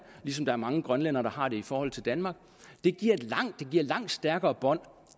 ligesom der er mange grønlændere der har det i forhold til danmark det giver et langt stærkere bånd